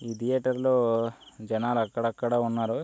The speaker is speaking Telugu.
ఈ థియేటర్లో జనాలు అక్కడక్కడ ఉన్నారు.